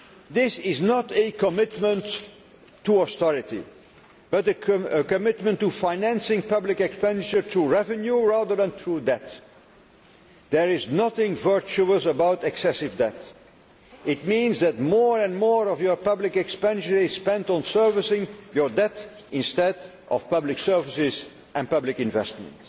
This is not a commitment to austerity, but a commitment to financing public expenditure through revenue rather than through debt. There is nothing virtuous about excessive debt it means that more and more of your public expenditure is spent on servicing your debt instead of public services and public investment.